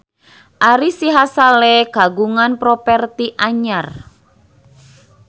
Ari Sihasale kagungan properti anyar